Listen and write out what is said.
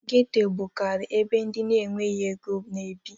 Geto bukariri ebe ndị na enweghị ego n'ebi